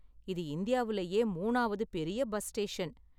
இது இந்தியாவுலயே மூணாவது பெரிய பஸ் ஸ்டேஷன்.